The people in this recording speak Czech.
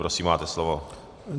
Prosím, máte slovo.